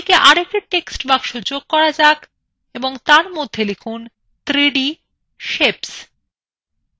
ডানদিকে আর একটি text box যোগ করা যাক এবং তার মধ্যে লিখুন 3d সেপস